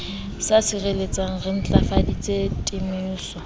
sa sireletsehang re ntlafaditse temoso